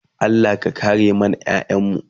Allah ya kare mana ƴaƴanmu